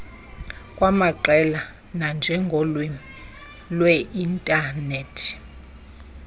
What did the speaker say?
kwamaqela nanjengolwimi lweinthanethi